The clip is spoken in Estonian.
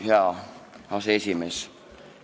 Hea aseesimees!